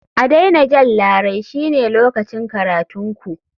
A daina jan larai shine lokacin karatun ku.